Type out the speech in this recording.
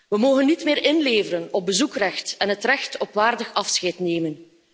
We mogen niet meer inleveren op bezoekrecht en het recht op waardig afscheid nemen.